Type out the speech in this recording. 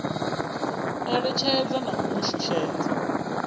eletshedza na u mu shushedza